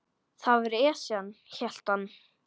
Það var Esjan, hélt hann.